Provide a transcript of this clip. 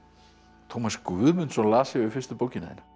Tómas Guðmundsson las yfir fyrstu bókina þína